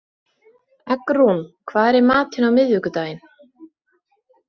Eggrún, hvað er í matinn á miðvikudaginn?